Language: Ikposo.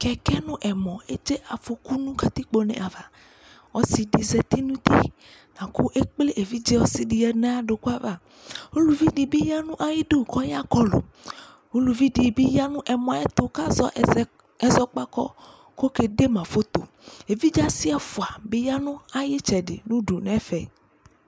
Kɛkɛ no ɛmɔ edze afɔku no katikpo ne ava Ɔse de zati no uti la ko ekple evidze ɔse de yia no aya doko ava Uluvi de be ya no ayidu kɔ ya kɔlu Uluvi de ya no ɛmɔɛ ayɛto kazɛ ɛzɔkpako ko ke de na foto Evidze ase ɛfua be ya no aye etsɛde no du nɛfɛ